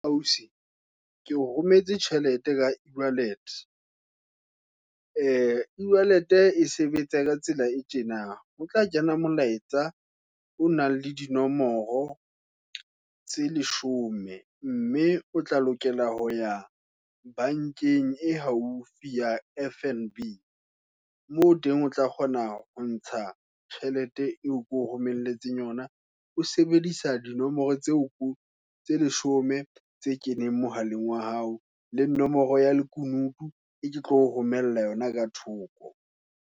Ausi, ke o rometse tjhelete ka e-wallet. E-wallet e sebetsa, ka tsela e tjena, o tla kena molaetsa, o nang le dinomoro, tse leshome, mme o tla lokela ho ya bankeng, e haufi ya F_N_B, moo teng o tla kgona, hontsha tjhelete eo ko romelletseng yona. O sebedisa dinomoro, tseo ko, tse leshome, tse keneng mohaleng wa hao, le nomoro ya lekunutu, eo ke tlo o romella yona ka thoko.